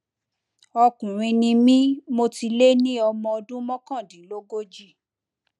ọkùnrin ni mí mo ti lé ní ọmọ ọdún mọkàndínlógójì